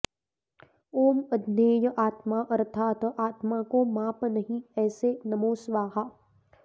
ॐ अज्ञेय आत्मा अर्थात आत्मा को माप नहीं ऐसे नमो स्वाहा